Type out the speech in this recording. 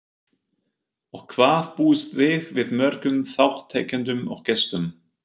Og hvað búist þið við mörgum þátttakendum og gestum?